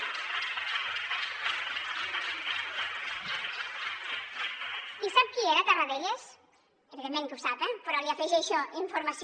i sap qui era tarradellas evidentment que ho sap eh però li afegeixo informació